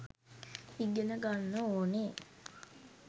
ඉගෙන ගන්න ඕනෙ